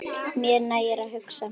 Mér nægir að hugsa.